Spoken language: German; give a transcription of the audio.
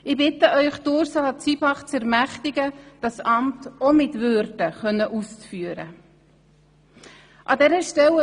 Ich bitte Sie, Ursula Zybach zu ermächtigen, dieses Amt ebenfalls mit Würde ausführen zu können.